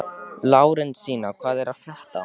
Lárensína, hvað er að frétta?